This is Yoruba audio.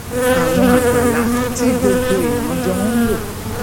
àwọn àgbàlá tí gbogbo èèyàn jọ ń lò